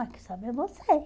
Ai, quem sabe é você.